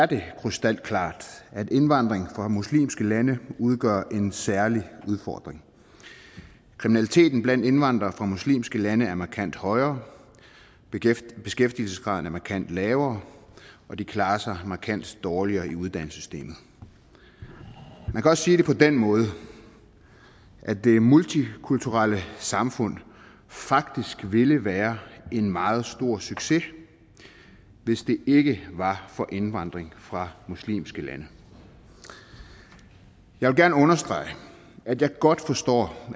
det er krystalklart at indvandring fra muslimske lande udgør en særlig udfordring kriminaliteten blandt indvandrere fra muslimske lande er markant højere beskæftigelsesgraden er markant lavere og de klarer sig markant dårligere i uddannelsessystemet man kan også sige det på den måde at det multikulturelle samfund faktisk ville være en meget stor succes hvis det ikke var for indvandring fra muslimske lande og jeg vil gerne understrege at jeg godt forstår